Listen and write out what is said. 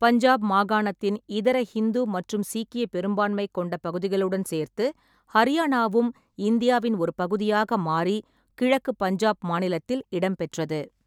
பஞ்சாப் மாகாணத்தின் இதர ஹிந்து மற்றும் சீக்கிய பெரும்பான்மை கொண்ட பகுதிகளுடன் சேர்த்து, ஹரியானாவும் இந்தியாவின் ஒரு பகுதியாக மாறி கிழக்கு பஞ்சாப் மாநிலத்தில் இடம்பெற்றது.